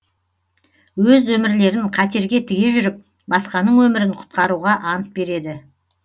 өз өмірлерін қатерге тіге жүріп басқаның өмірін құтқаруға ант береді